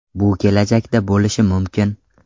Bu kelajakda bo‘lishi mumkin.